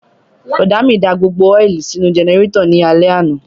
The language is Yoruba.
Bùrọ̀dá mi da gbogbo ọ́ìlì sínú jẹnẹrétọ̀ ní alẹ́ àná